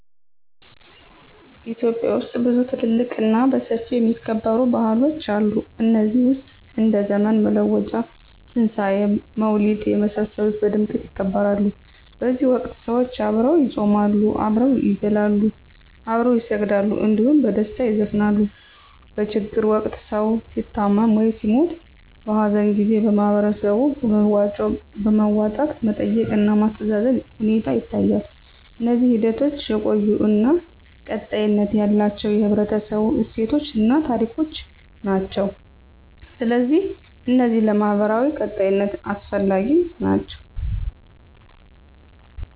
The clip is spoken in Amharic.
ኢትዮጵያ ውስጥ ብዙ ትልልቅ እና በሰፊው የሚከበሩ ባህሎች አሉ ከነዚህ ውስጥ እንደ ዘመን መለወጫ; ትንሣኤ; መውሊድ የመሳሰሉት በድምቀት ይከበራሉ በዚህ ወቅት ሰዎች አብረው ይጾማሉ፣ አብረው ይበላሉ፣ አብረው ይሰግዳሉ እንዲሁም በደስታ ይዘፍናሉ። በችግር ወቅት ሰዉ ሲታመም ወይም ሲሞት(በሀዘን) ጊዜ በህበረተሰቡ በመዋጮ በማዋጣት መጠየቅ እና ማስተዛዘን ሁኔታ ይታያል። እነዚህ ሂደቶች የቆዩ እና ቀጣይነት ያላቸው የህብረተሰቡ እሴቶችን እና ታሪኮችን ናቸው። ስለዚህ እነዚህ ለማህበራዊ ቀጣይነት አስፈላጊ ናቸው